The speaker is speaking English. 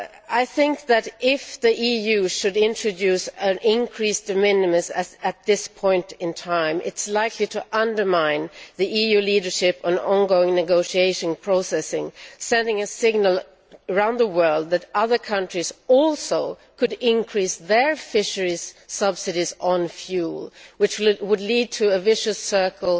I would think that, if the EU were to introduce an increased de minimis at this point in time, it is likely to undermine the EU leadership in the ongoing negotiation process, sending a signal round the world that other countries, too, could increase their fishery subsidies on fuel, which would lead to a vicious circle,